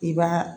I b'a